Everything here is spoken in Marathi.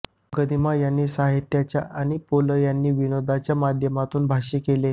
गदिमा यांनी साहित्याच्या आणि पुल यांनी विनोदाच्या माध्यमातून भाष्य केले